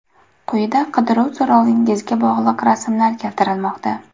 Quyida qidiruv so‘rovingizga bog‘liq rasmlar keltirilmoqda.